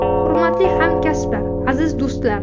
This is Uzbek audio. Hurmatli hamkasblar, aziz do‘stlar!